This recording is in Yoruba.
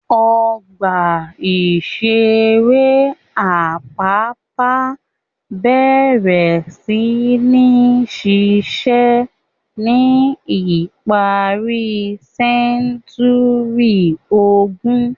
Ọgbà-ìṣeré Apapa bẹ̀rẹ̀ sí ní ṣiṣẹ́ ní ìparí sẹ́ńtúrì ogún.